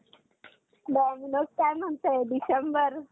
dominos काय म्हणताय डिसेंबर?